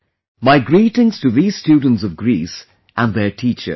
My greetings to these students of Greece and their teachers